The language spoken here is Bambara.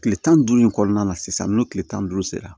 Tile tan ni duuru in kɔnɔna na sisan n'o tile tan ni duuru sera